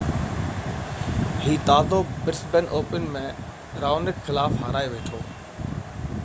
هي تازو Brisbane Open ۾ Raonic خلاف هارائي ويٺو